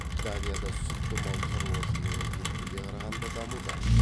данияда сүтті мал шаруашылығы еттіге қарағанда дамуда